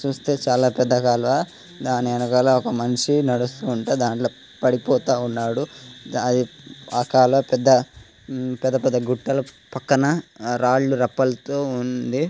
చూస్తే చాలా పెద్ద కాలువ దాని ఎనుకాల ఒక మనిషి నడుస్తుంటే దాంట్ల పడిపోతా ఉన్నాడు ఆ కాలువ పెద్ద పెద్ద గుట్టల పక్కన రాళ్లు రప్పలతో ఉంది